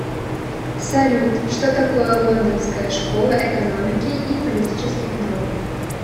салют что такое лондонская школа экономики и политических наук